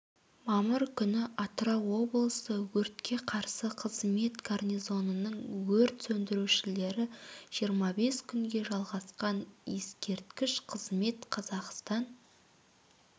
мамыр күні атырау облысы өртке қарсы қызмет гарнизонының өрт сөндірушілері жиырма бес күнге жалғасқан ескерткіш қызмет қазақстан